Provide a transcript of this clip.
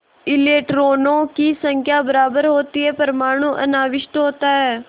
इलेक्ट्रॉनों की संख्या बराबर होती है परमाणु अनाविष्ट होता है